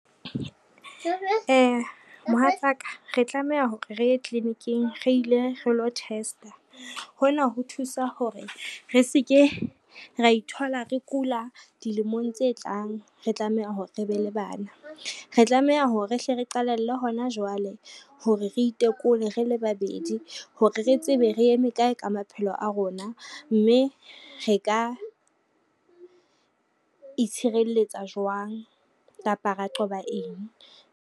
Mohatsaka re tlameha hore re ye tliliniking re ile re lo test-a. Hona ho thusa hore re se ke ra ithola re kula dilemong tse tlang, re tlameha hore re be le bana. Re tlameha hore rehle re qalelle hona jwale hore re itekole re le babedi hore re tsebe re eme kae ka maphelo a rona, mme re ka itshireletsa jwang kapa ra qoba eng.